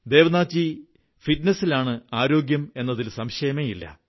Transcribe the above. ദേവ്നാഥ് ജീ ഫിറ്റ്നസിലാണ് ആരോഗ്യം എന്നതിൽ സംശയമേ ഇല്ല